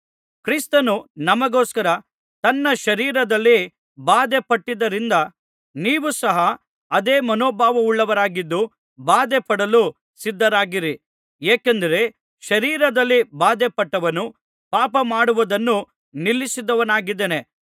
ಕ್ರಿಸ್ತನು ನಮಗೋಸ್ಕರ ತನ್ನ ಶರೀರದಲ್ಲಿ ಬಾಧೆಪಟ್ಟದ್ದರಿಂದ ನೀವು ಸಹ ಅದೇ ಮನೋಭಾವವುಳ್ಳವರಾಗಿದ್ದು ಬಾಧೆಪಡಲು ಸಿದ್ಧರಾಗಿರಿ ಏಕೆಂದರೆ ಶರೀರದಲ್ಲಿ ಬಾಧೆಪಟ್ಟವನು ಪಾಪ ಮಾಡುವುದನ್ನು ನಿಲ್ಲಿಸಿದವನಾಗಿದ್ದಾನೆ